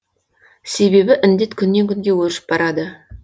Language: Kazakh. себебі індет күннен күнге өршіп барады